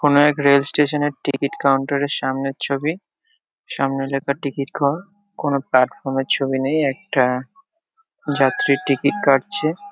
কোন এক rail station এর টিকিট কাউন্টার এর সামনের ছবি সামনে লেখা টিকিট ঘর কোন প্লাটফর্ম এর ছবি নেই একটা যাত্রী টিকিট কাটছে।